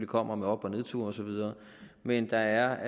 kommer med op og nedture og så videre men der er